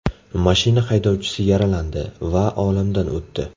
Mashina haydovchisi yaralandi va olamdan o‘tdi.